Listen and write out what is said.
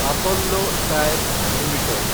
Apollo tyres limited